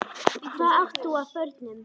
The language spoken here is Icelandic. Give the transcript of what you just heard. Hvað átt þú af börnum?